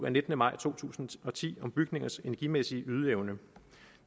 af nittende maj to tusind og ti om bygningers energimæssige ydeevne